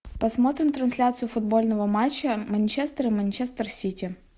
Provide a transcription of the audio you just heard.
посмотрим трансляцию футбольного матча манчестер и манчестер сити